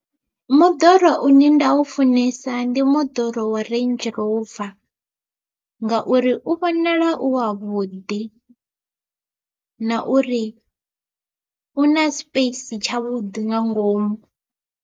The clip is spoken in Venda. Moḓoro une nda u funesa ndi moḓoro wa Range Rover ngauri u vhonala u wavhuḓi, na uri u na space tshavhuḓi nga ngomu.